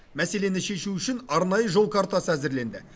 мәселені шешу үшін арнайы жол картасы әзірленді